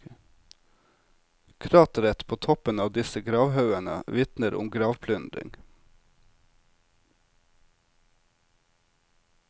Krateret på toppen av disse gravhaugene vitner om gravplyndring.